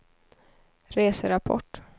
reserapport